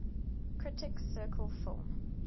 critics circle film